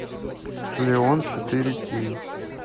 леон четыре кей